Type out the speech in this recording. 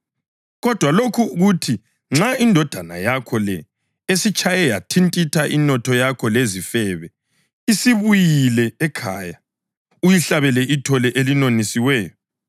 Kodwa lokhu kuthi nxa indodana yakho le esitshaye yathintitha inotho yakho lezifebe, isibuyile ekhaya uyihlabele ithole elinonisiweyo!’